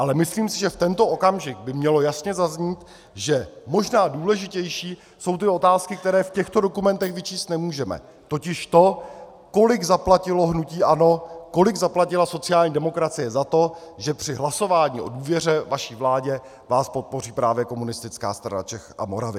Ale myslím si, že v tento okamžik by mělo jasně zaznít, že možná důležitější jsou ty otázky, které v těchto dokumentech vyčíst nemůžeme, totiž to, kolik zaplatilo hnutí ANO, kolik zaplatila sociální demokracie za to, že při hlasování o důvěře vaší vládě vás podpoří právě Komunistická strana Čech a Moravy.